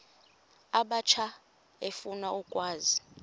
abatsha efuna ukwazi